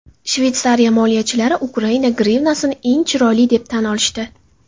Shveytsariya moliyachilari Ukraina grivnasini eng chiroyli deb tan olishdi.